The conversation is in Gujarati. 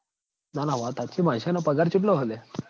ના ના વાત હાચી બાદશાહ નો પગાર ચેટલો હ લ્યા